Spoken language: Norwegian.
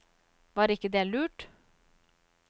Var ikke det lurt?